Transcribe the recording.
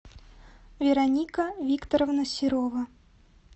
вероника викторовна серова